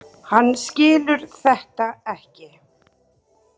Hann skilur þetta ekki.